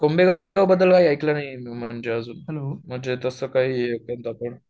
कुंभे गाव बद्दल कधी ऐकलं नाही हे म्हणजे अजून म्हणजे तस काय कोणता स्पॉट